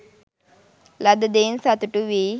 ලද දෙයින් සතුටු වී